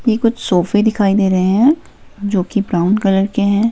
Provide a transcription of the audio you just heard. की कुछ सोफे दिखाई दे रहे हैं जो कि ब्राउन कलर के हैं।